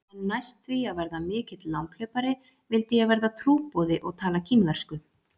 En næst því að verða mikill langhlaupari vildi ég verða trúboði og tala kínversku.